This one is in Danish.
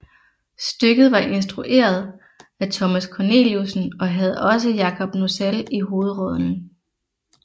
Stykket var instrueret af Thomas Corneliussen og havde også Jacob Nossell i hovedrollen